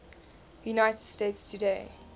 united states today